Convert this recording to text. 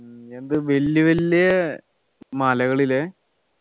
നീ എന്ത് വല്യ വല്യ മലകളിലെ